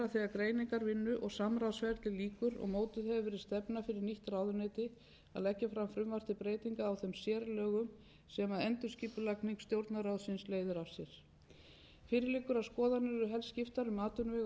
greiningarvinnu og samráðsferli lýkur og mótuð hefur verið stefna fyrir nýtt ráðuneyti að leggja fram frumvarp til breytinga á þeim sérlögum sem endurskipulagning stjórnarráðsins leiðir af sér fyrir liggur að skoðanir eru helst skiptar um atvinnuvega og nýsköpunarráðuneytið en meiri sátt virðist ríkja